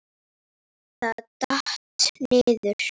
Það datt. niður.